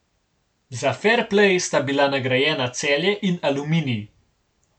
Za ferplej sta bila nagrajena Celje in Aluminij.